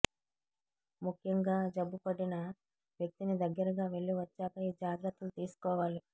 ముఖ్యంగా జబ్బు పడిన వ్యక్తిని దగ్గరగా వెళ్లి వచ్చాక ఈ జాగ్రత్తలు తీసుకోవాలి